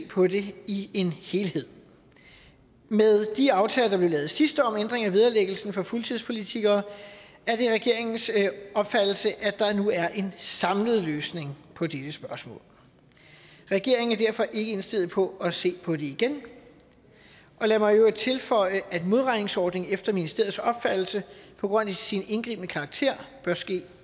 på det i en helhed med de aftaler der blev lavet sidst om ændringer af vederlæggelsen for fuldtidspolitikere er det regeringens opfattelse at der nu er en samlet løsning på dette spørgsmål regeringen er derfor ikke indstillet på at se på det igen lad mig i øvrigt tilføje at modregningsordning efter ministeriets opfattelse på grund af sin indgribende karakter bør ske